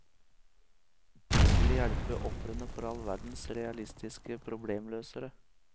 De skulle hjelpe ofrene for all verdens realistiske problemløsere.